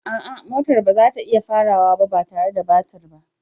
A'a, motar ba za ta iya farawa ba tare da batir ba.